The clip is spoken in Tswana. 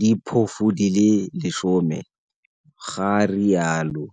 diphofu di le 10, ga rialo.